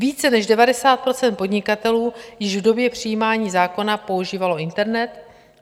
Více než 90 % podnikatelů již v době přijímání zákona používalo internet.